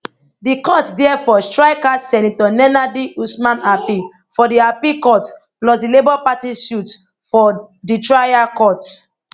di court therefore strike out senator nenadi usman appeal for di appeal court plus di labour party suit for di trial court